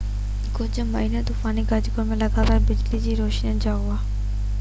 ڪجهه مينهن طوفاني گجگوڙ ۽ لڳاتار بجلي جي روشني سان هو